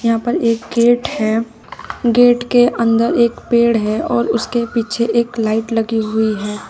यहां पर एक गेट है गेट के अंदर एक पेड़ है और उसके पीछे एक लाइट लगी हुई है।